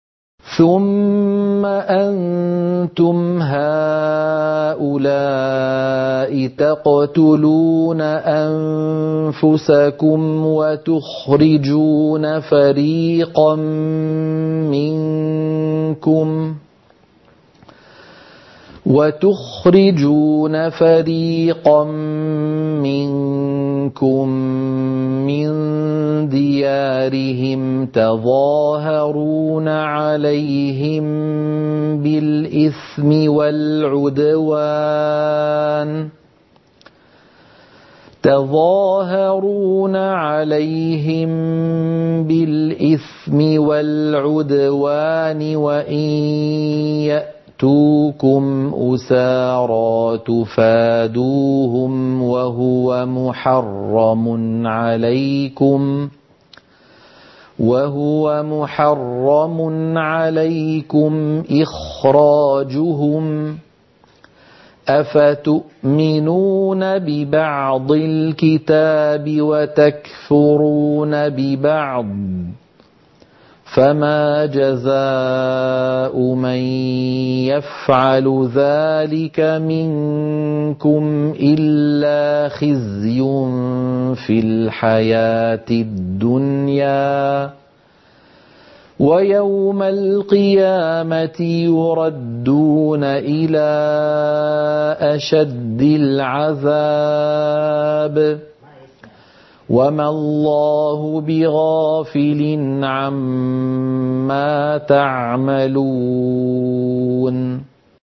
ثُمَّ أَنتُمْ هَٰؤُلَاءِ تَقْتُلُونَ أَنفُسَكُمْ وَتُخْرِجُونَ فَرِيقًا مِّنكُم مِّن دِيَارِهِمْ تَظَاهَرُونَ عَلَيْهِم بِالْإِثْمِ وَالْعُدْوَانِ وَإِن يَأْتُوكُمْ أُسَارَىٰ تُفَادُوهُمْ وَهُوَ مُحَرَّمٌ عَلَيْكُمْ إِخْرَاجُهُمْ ۚ أَفَتُؤْمِنُونَ بِبَعْضِ الْكِتَابِ وَتَكْفُرُونَ بِبَعْضٍ ۚ فَمَا جَزَاءُ مَن يَفْعَلُ ذَٰلِكَ مِنكُمْ إِلَّا خِزْيٌ فِي الْحَيَاةِ الدُّنْيَا ۖ وَيَوْمَ الْقِيَامَةِ يُرَدُّونَ إِلَىٰ أَشَدِّ الْعَذَابِ ۗ وَمَا اللَّهُ بِغَافِلٍ عَمَّا تَعْمَلُونَ